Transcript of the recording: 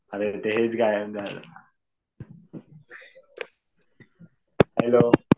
अरे तेच गायब झालं. हॅलो